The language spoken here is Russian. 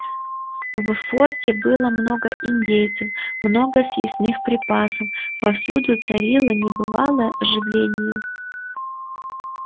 в форте было мною индейцев много съестных припасов повсюду царило небывалое оживление